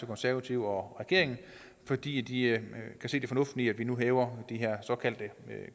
konservative og regeringen fordi de kan se det fornuftige i at vi nu hæver de her